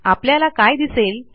आपल्याला काय दिसले